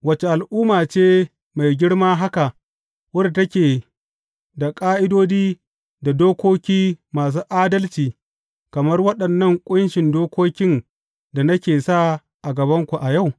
Wace al’umma ce mai girma haka wadda take da ƙa’idodi da dokoki masu adalci kamar waɗannan ƙunshin dokokin da nake sa a gabanku a yau?